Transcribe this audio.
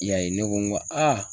I y'a ye ,ne ko n ko aa